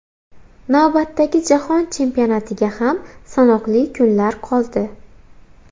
Navbatdagi Jahon Chempionatiga ham sanoqli kunlar qoldi.